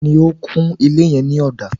Ta ni ó kun ilé yẹn ní ọ̀dà?